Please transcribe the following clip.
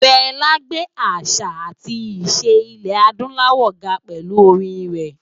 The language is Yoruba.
Fela gbé àṣá átì iṣé Ilè-ádùláwò lárùgè pèlú órin rè